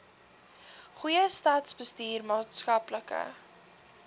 goeie staatsbestuur maatskaplike